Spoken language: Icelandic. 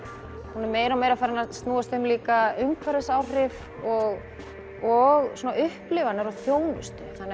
hún er meira og meira farin að snúast um líka umhverfisáhrif og og upplifanir á þjónustu